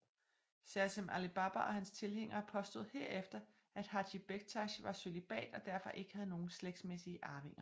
Sersem Ali Baba og hans tilhængere påstod herefter at Hājī Bektāsh var cølibat og derfor ikke havde nogen slægtsmæssige arvinger